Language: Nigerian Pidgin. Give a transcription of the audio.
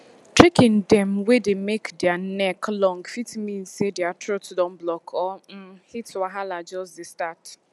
chicken dem wey dey make dere neck long fit mean say dere throat don block or um heat wahala jus dey start